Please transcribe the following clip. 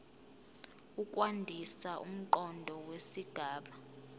ukwandisa umqondo wesigaba